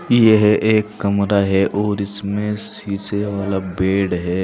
यह एक कमरा है और इसमें शीशे वाला बेड है।